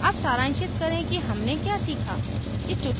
अब सारांशित करें कि हमने क्या सीखा